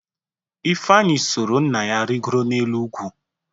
Ifeanyị soro nna ya rịgoro n’elu ugwu.